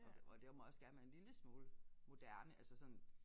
Og og der må også gerne være en lille smule moderne altså sådan